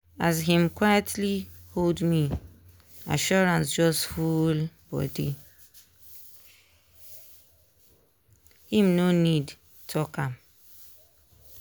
as him quitely hold me assurance just full body him no need talk am.